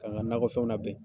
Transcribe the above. Ka n ga nakɔfɛnw nabɛn.